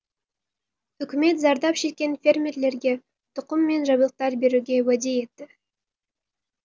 үкімет зардап шеккен фермерлерге тұқым мен жабдықтар беруге уәде етті